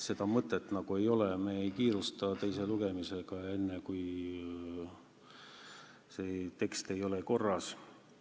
Me ei kiirusta teise lugemisega enne, kui see tekst ei ole korras.